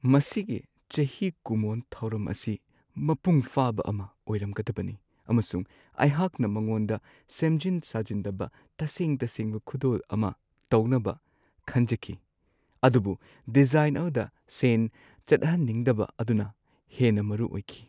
ꯃꯁꯤꯒꯤ ꯆꯍꯤ ꯀꯨꯝꯑꯣꯟ ꯊꯧꯔꯝ ꯑꯁꯤ ꯃꯄꯨꯡ ꯐꯥꯕ ꯑꯃ ꯑꯣꯏꯔꯝꯒꯗꯕꯅꯤ, ꯑꯃꯁꯨꯡ ꯑꯩꯍꯥꯛꯅ ꯃꯉꯣꯟꯗ ꯁꯦꯝꯖꯤꯟ-ꯁꯥꯖꯤꯟꯗꯕ ꯇꯁꯦꯡ-ꯇꯁꯦꯡꯕ ꯈꯨꯗꯣꯜ ꯑꯃ ꯇꯧꯅꯕ ꯈꯟꯖꯈꯤ ꯫ ꯑꯗꯨꯕꯨ ꯗꯤꯖꯥꯏꯟ ꯑꯗꯨꯗ ꯁꯦꯟ ꯆꯠꯍꯟꯅꯤꯡꯗꯕ ꯑꯗꯨꯅ ꯍꯦꯟꯅ ꯃꯔꯨꯑꯣꯏꯈꯤ ꯫